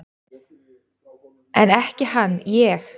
En ekki hann ég!